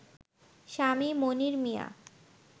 স্বামী মনির মিয়া